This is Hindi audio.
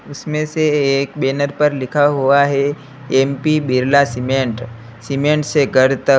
इसमें से एक बैनर पर लिखा हुआ हैं एम_पी बिरला सीमेंट सीमेंट से घर तक--